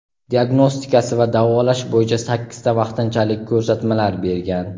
diagnostikasi va davolash bo‘yicha sakkizta vaqtinchalik ko‘rsatmalar bergan.